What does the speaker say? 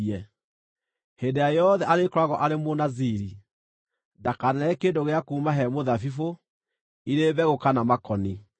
Hĩndĩ ĩrĩa yothe arĩkoragwo arĩ Mũnaziri, ndakanarĩe kĩndũ gĩa kuuma he mũthabibũ, irĩ mbegũ kana makoni.